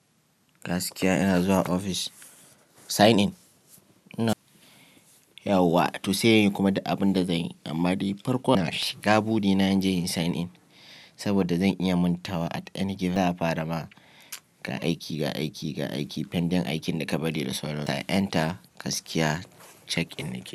Gaskiya ina zuwa ofis sign in. Yau wa to sai in yi kuma da abin da zanyi amma dai farko ashiga buri na in je in yi sign in saboda zan iya manta wa at any given za a fara ma ga aiki, ga aiki, ga aiki pending aikin da ka bari da saura. Ta enter, gaskiya check in yake.